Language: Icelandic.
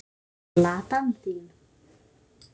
Eins og Ladan þín.